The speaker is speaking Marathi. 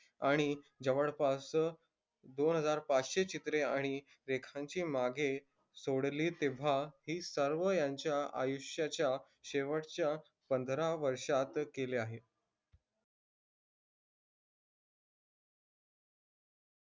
आणि जवळपास दोनहजार पाचशे चित्रे आणि एकसांची मागे सोडली तेव्हा ही सर्व यांच्या आयुष्याच्या शेवटच्या पंधरा वर्षात केली आहे